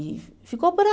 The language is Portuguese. E ficou por ali.